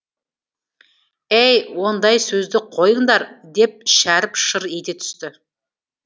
әй ондай сөзді қойыңдар деп шәріп шыр ете түсті